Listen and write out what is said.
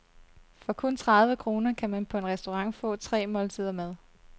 For kun tredive kroner kan man på en restaurant få tre måltider mad.